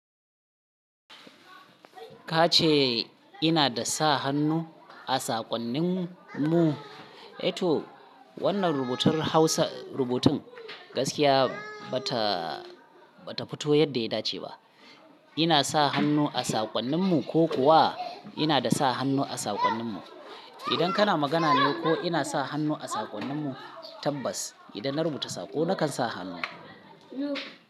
Ka ce ina da sa hannu a saƙonnin mu, to wannan rubutun gaskiya ba ta fito yadda ya dace ba. Ina sa hannu a saƙonnin mu ko kuwa ina da sa hannu a saƙonnin mu? Idan kana magana ne ko ina sa hannu a saƙonnin mu tabbas idan na rubuta saƙo nakan sa hannu.